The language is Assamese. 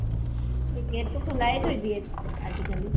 gate টো খুলাই থৈ দিয়ে আজি কালি।